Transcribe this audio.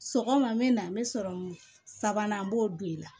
Sɔgɔma n bɛ na n bɛ sɔrɔmu sabanan n b'o don i la